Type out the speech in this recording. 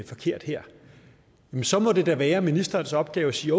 forkert her så må det da være ministerens opgave at sige